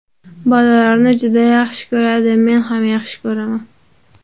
Bolalarni juda yaxshi ko‘radi, men ham yaxshi ko‘raman.